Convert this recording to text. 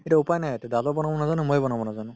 তেতিয়া উপাই নাই দাদা বনাব নাজানে মইও নাজানো